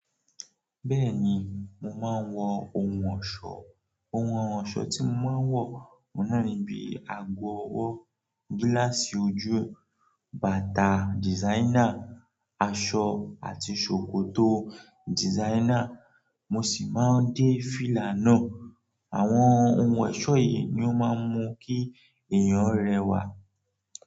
Bẹ́ẹ̀ni mo máa ń wọ ohun ọ̀ṣọ́ Ohun ọ̀ṣọ́ tí mo máa ń wọ, ó náà ni bíi àgọ̀ ọwọ́, gíláàsì ojú, bàtà dìsáinà, aṣọ àti ṣòkòtò dìsáinà, mo sì máa ń dé fìlà náà. Àwọn ohun ọ̀ṣọ yìí ni ó máa ń mú kí èèyàn rẹwà.